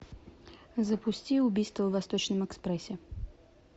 запусти убийство в восточном экспрессе